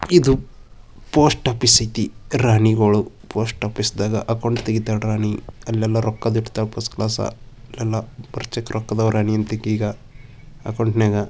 ಇದು post office ಐತಿ ರಾಣಿಗಳು ಪೋಸ್ಟ್ ಆಫೀಸ್ ದಾಗ ಅಕೌಂಟ್ ತೆಗಿತಾಳ್ ರಾಣಿ ಅಲ್ಲೆಲ್ಲಾ ರೊಕ್ಕ ಫಸ್ಟ್ ಕ್ಲಾಸ್ ಎಲ್ಲಾ ]